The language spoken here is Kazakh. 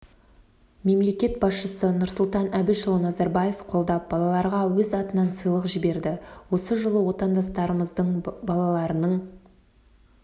мемлекет басшысы нұрсұлтан әбішұлы назарбаев қолдап балаларға өз атынан сыйлық жіберді осы жылы отандастарымыздың балаларының